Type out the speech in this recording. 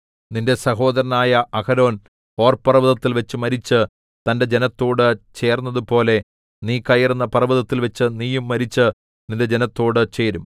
നിന്റെ സഹോദരനായ Aaron Hor പർവ്വതത്തിൽവച്ച് മരിച്ച് തന്റെ ജനത്തോട് ചേർന്നതുപോലെ നീ കയറുന്ന പർവ്വതത്തിൽവച്ച് നീയും മരിച്ച് നിന്റെ ജനത്തോടു ചേരും